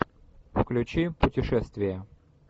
включи путешествие